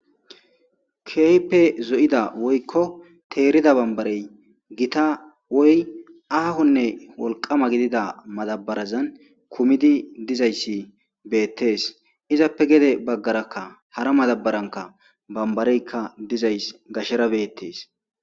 Kehipe zo'ida woykko teerida bambarey gita woy aahonne wolqama gidida madabarazan kumidi dizayssi beettees izappe gede baggarakka hara madabaranka bambareykka dizays gashera beettees